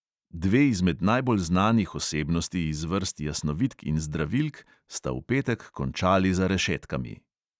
Dve izmed najbolj znanih osebnosti iz vrst jasnovidk in zdravilk sta v petek končali za rešetkami.